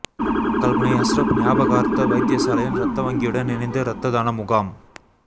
கல்முனை அஸ்ரப் ஞாபகார்த்த வைத்தியசாலையின் இரத்த வங்கியுடன் இணைந்து இரத்ததான முகாம்